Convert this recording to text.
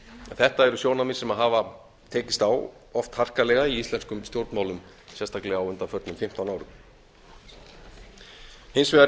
þetta eru sjónarmið sem hafa tekist á oft harkalega í íslenskum stjórnmálum sérstaklega á undanförnum fimmtán árum hins vegar